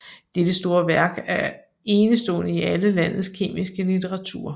Dette store værk er enestående i alle landes kemiske litteratur